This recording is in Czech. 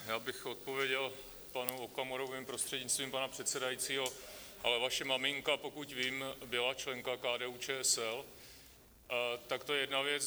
Já bych odpověděl panu Okamurovi, prostřednictvím pana předsedajícího: ale vaše maminka, pokud vím, byla členka KDU-ČSL - tak to je jedna věc.